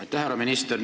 Aitäh, härra minister!